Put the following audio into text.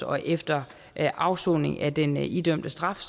og efter afsoning af den idømte straf